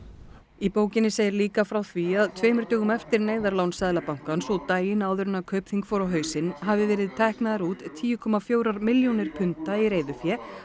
í bókinn segir líka frá því að tveimur dögum eftir neyðarlán Seðlabankans og daginn áður en Kaupþing fór á hausinn hafi verið teknar út tíu komma fjórar milljónir punda í reiðufé